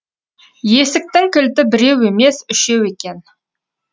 есіктің кілті біреу емес үшеу екен